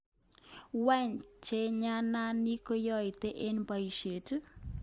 Wany chajanani koyoito ano boishet?